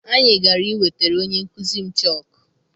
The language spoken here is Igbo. Anyị gara I wetara onye nkụzi m chọku.